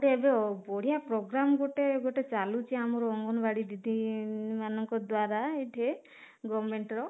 ଗୋଟେ ଏବେ ବଢିଆ ପ୍ରୋଗ୍ରାମ ଗୋଟେ ଗୋଟେ ଚାଲୁଛି ଆମର ଅଙ୍ଗନବାଡି ଦିଦି ମାନଙ୍କ ଦ୍ୱାରା ଏଇଥେ government ର